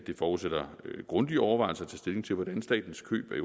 det forudsætter grundige overvejelser at tage stilling til hvordan statens køb af